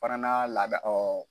Parana laada ɔ.